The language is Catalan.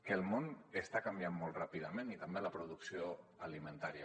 que el món està canviant molt ràpidament i també la producció alimentària